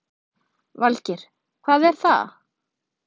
Valgeir: Hvað er það?